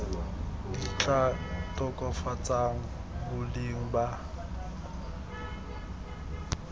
di tla tokafatsang boleng ba